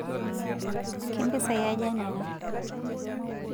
kempisai aja nena